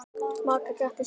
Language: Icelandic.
Magga gretti sig.